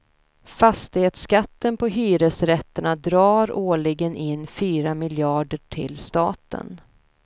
Fastighetsskatten på hyresrätterna drar årligen in fyra miljarder till staten.